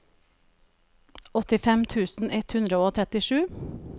åttifem tusen ett hundre og trettisju